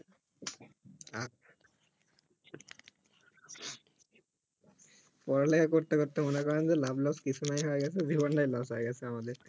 পড়ালেখা করতে করতে মনে করেন যে লাভ লস কিছু নাই হয়ে গেছে জীবন তাই লস হয়ে গেছে আমাদের